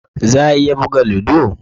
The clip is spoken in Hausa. Za a iya buga ludo?